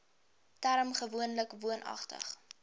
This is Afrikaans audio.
term gewoonlik woonagtig